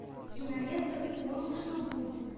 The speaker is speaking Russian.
кинолента вспомни что будет